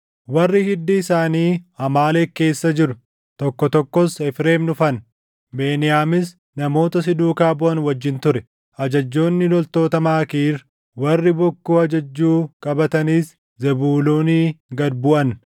Warri hiddi isaanii Amaaleq keessa jiru tokko tokkos Efreem dhufan; Beniyaamis namoota si duukaa buʼan wajjin ture. Ajajjoonni loltoota Maakiir, warri bokkuu ajajjuu qabatanis Zebuuloonii gad buʼan.